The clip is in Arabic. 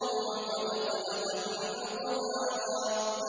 وَقَدْ خَلَقَكُمْ أَطْوَارًا